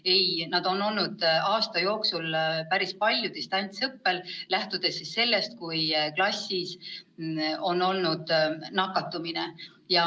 Ei, nad on olnud aasta jooksul päris palju distantsõppel, kui klassis on olnud mõni nakatunu.